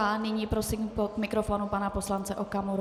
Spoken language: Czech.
A nyní prosím k mikrofonu pana poslance Okamuru.